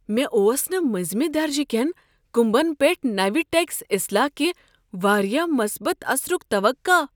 مےٚ اوس نہٕ منزِمہِ درجہِ كین كُمبن پیٹھ نوِ ٹیکس اصلاح کہ واریاہ مثبت اثرک توقع۔